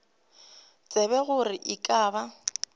tsebe gore e ka ba